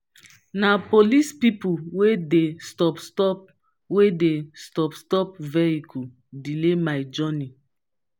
na police pipo wey dey stop-stop wey dey stop-stop vehicle delay my journey.